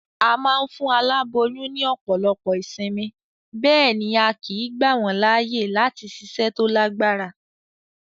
A ma n fún aláboyún ní òpòlopo ìsinmi, béèni a kìí gbà wón láàyè láti siṣẹ́ to lágbára